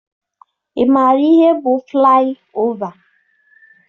Ị maara ihe bụ flaị ova?